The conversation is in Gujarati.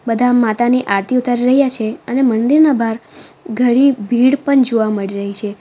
બધા માતાની આરતી ઉતારી રહ્યા છે અને મંદિરના ભાગ ઘણી ભીડ પણ જોવા મળી રહી છે.